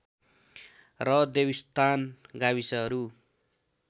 र देवीस्थान गाविसहरू